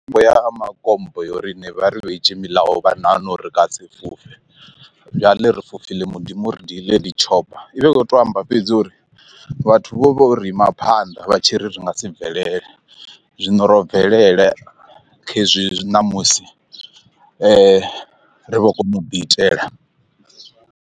Mitambo ya makompo yonori ebe ba re beyetxe melayo ba nagana re ka se fofe bjale re fofile modimo o re dile di chopper, i vha i kho to amba fhedzi uri vhathu vho vha uri ima phanḓa vha tshi ri ri nga si bvelele zwino ro bvelele khezwi zwi ṋamusi ri vho kona u ḓi itela.